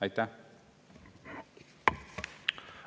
Aitäh!